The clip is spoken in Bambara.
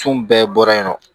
Fun bɛɛ bɔra yen nɔ